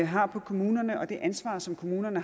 har på kommunerne og det ansvar som kommunerne